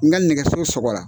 N ka nɛgɛso sɔgɔ la.